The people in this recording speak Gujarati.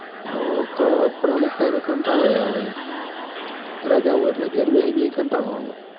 અવ ક પણ અમુક time એ કંટાળોય આવ ઈમ રજા હોય એટલ ઘેર બેહી બેહી ન કંટાળો આવ